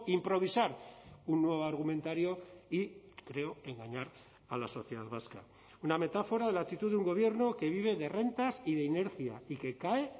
improvisar un nuevo argumentario y creo engañar a la sociedad vasca una metáfora de la actitud de un gobierno que vive de rentas y de inercia y que cae